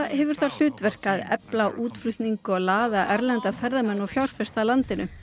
hefur það hlutverk að efla útflutning og laða erlenda ferðamenn og fjárfesta að landinu